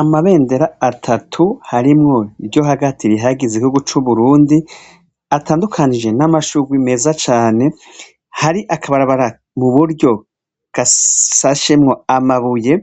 Amabender' atatu harimw' iryo hagati rihayagiz' igihugu cu Burundi, atandukanije n' amashurwe meza cane, har' akabarabar' iburyo gasashemw' amabuye,